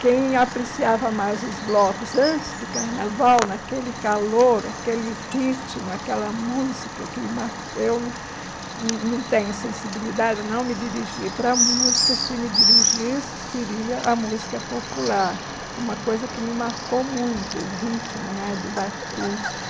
Quem apreciava mais os blocos antes do carnaval, naquele calor, aquele ritmo, aquela música, que eu hum hum não tenho sensibilidade a não me dirigir para a música, se me dirigisse, seria a música popular, uma coisa que me marcou muito, o ritmo né do batuque.